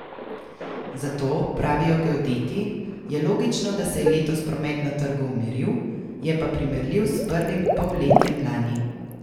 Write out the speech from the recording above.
Zato, pravijo geodeti, je logično, da se je letos promet na trgu umiril, je pa primerljiv s prvim polletjem lani.